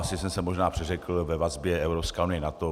Asi jsem se možná přeřekl ve vazbě Evropská unie - NATO.